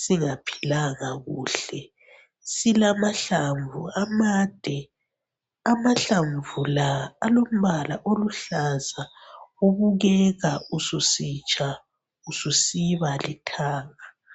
singaphilanga kuhle silamahlamvu amande amahlamvu la alombala oluhlaza obukeka ususitsha ususiba lithanga.